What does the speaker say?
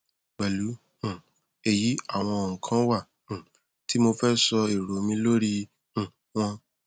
pẹlú um èyí àwọn ohùn kan wà um tí mo fẹ sọ èrò mi lórí i um wọn